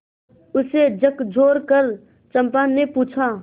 उसे झकझोरकर चंपा ने पूछा